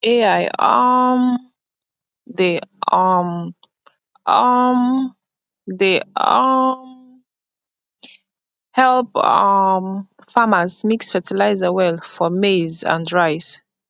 ai um dey um um dey um help um farmers mix fertilizer well for maize and rice